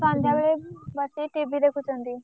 ସନ୍ଧ୍ୟାବେଳେ ବସିକି TV ଦେଖୁଛନ୍ତି।